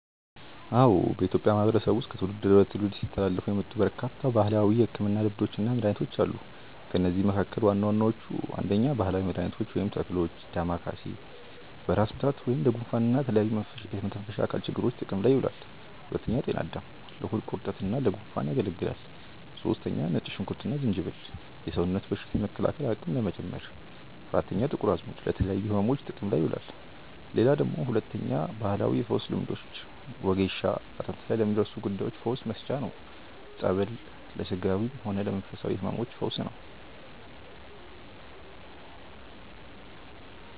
አዎ፣ በኢትዮጵያ ማህበረሰብ ዉስጥ ከትውልድ ወደ ትውልድ ሲተላለፉ የመጡ በርካታ ባህላዊ የሕክምና ልምዶችና መድኃኒቶች አሉ። ከእነዚህም መካከል ዋና ዋናዎቹ፦ 1. ባህላዊ መድኃኒቶች (ተክሎች) . ዳማከሴ፦ በራስ ምታት፣ ለጉንፋንና ለተለያዩ የመተንፈሻ አካላት ችግሮች ጥቅም ላይ ይውላል። . ጤና አዳም፦ ለሆድ ቁርጠትና ለጉንፋን ያገለግላል። . ነጭ ሽንኩርትና ዝንጅብል፦ የሰውነት በሽታ የመከላከል አቅም ለመጨመር። . ጥቁር አዝሙድ፦ ለተለያዩ ሕመሞች ጥቅም ላይ ይውላል። 2. ባህላዊ የፈውስ ልምዶች . ወጌሻ፦ አጥንት ላይ ለሚደርሱ ጉዳዮች ፈውስ መስጫ ነው። . ጸበል፦ hሥጋዊም ሆነ ለመንፈሳዊ ሕመሞች ፈውስ ነው።